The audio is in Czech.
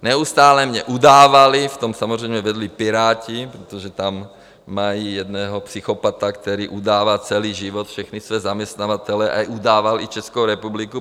Neustále mě udávali, v tom samozřejmě vedli Piráti, protože tam mají jednoho psychopata, který udává celý život všechny své zaměstnavatele a udával i Českou republiku.